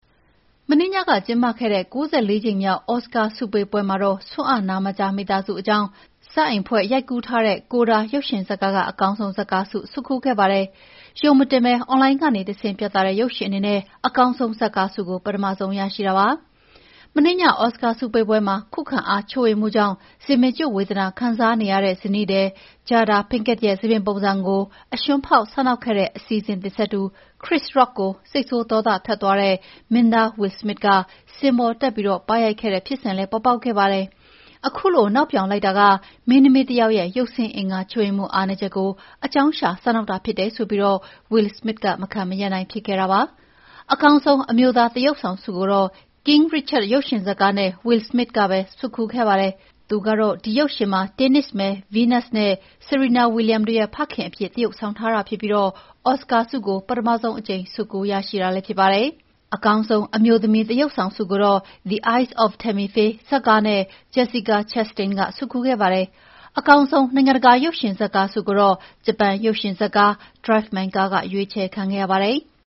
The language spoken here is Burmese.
မနေ့ညက ကျင်းပခဲ့တဲ့ ၉၄ ကြိမ်မြောက် အော်စကာဆုပေးပွဲမှာတော့ ဆွံ့အ နားမကြားမိသားစုအကြောင်း ဇာတ်အိမ်ဖွဲ့ရိုက်ကူးထားတဲ့ CODA ရုပ်ရှင်ဇာတ်ကားက အကောင်းဆုံး ဇာတ်ကားဆုဆွတ်ခူးခဲ့ပါတယ်။ အွန်လိုင်းကတဆင့် ချိတ်ဆက် ပြသတဲ့ ဆုရပထမဆုံးရုပ်ရှင်အနေနဲ့ အကောင်းဆုံးဇာတ်ကားဆုကို ပထမဆုံး ရရှိတာပါ။ မနေ့ည အော်စကာပွဲမှာ ခုခံအားချွတ်ယွင်းမှုကြောင့် ဆံပင်ကျွတ်ဝေဒနာခံစားနေရတဲ့ ဇနီးသည် Jada Pinkett ရဲ့ဆံပင်ပုံစံကို အရွှန်းဖောက်စနောက်ခဲ့တဲ့ အစီအစဉ်တင် ဆက်သူ Chris Rock ကို စိတ်ဆိုးဒေါသထွက်သွားတဲ့ မင်းသား Will Smith က စင်ပေါ်တက် ပါးရိုက်ခဲ့တဲ့ဖြစ်စဉ်လည်ပေါ်ပေါက်ခဲ့ပါတယ်။ အခုလို နောက်ပြောင်လိုက် တာ က မင်းသမီးတယောက်ရဲ့ ရုပ်ဆင်းအင်္ဂါချွတ်ယွင်းမှု အားနည်းချက်ကို အကြောင်းရှာစနောက်တာဖြစ်တယ်ဆိုပြီး Will Smith က မခံမရပ်ဖြစ်ခဲ့တာပါ။ အကောင်းဆုံး အမျိုးသားသရုပ်ဆောင်ဆုကို King Richard ရုပ်ရှင်ဇာတ်ကားနဲ့ Will Smith ကပဲ ဆွတ်ခူးခဲ့ပါတယ်။ သူက ဒီရုပ်ရှင်မှာ တင်းနစ်မယ် ဗီးနပ်စ်နဲ့ ဆီရီနာဝီလျံတို့ရဲ့ ဖခင်အဖြစ်သရုပ်ဆောင်ထားပြီး အော်စကာဆုကို ပထမဆုံးအကြိမ် ဆွတ်ခူးရရှိတာလည်းဖြစ်ပါတယ်။ အကောင်းဆုံး အမျိုးသမီးသရုပ်ဆောင်ဆုကိုတော့ "The Eyes of Tammy Faye" ဇာတ်ကားနဲ့ Jessica Chastain က ဆွတ်ခူးခဲ့ပါတယ်။ အကောင်းဆုံး နိုင်ငံတကာ ရုပ်ရှင်ဇာတ်ကားဆုကိုတော့ ဂျပန် ရုပ်ရှင်ဇာတ်ကား "Drive My Car” က ရွေးချယ်ခံခဲ့ရပါတယ်။